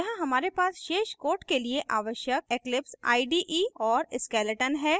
यहाँ हमारे पास शेष code के लिए आवश्यक eclipse ide और skeleton है